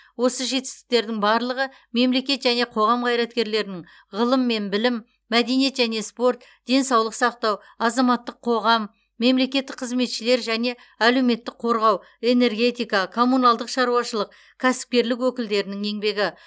осы жетістіктердің барлығы мемлекет және қоғам қайраткерлерінің ғылым мен білім мәдениет және спорт денсаулық сақтау азаматтық қоғам мемлекеттік қызметшілер және әлеуметтік қорғау энергетика коммуналдық шаруашылық кәсіпкерлік өкілдерінің еңбегі